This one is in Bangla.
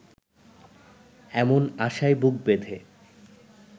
এমন আশায় বুক বেঁধে